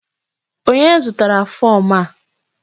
Onye zụtara fom a?